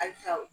Halisa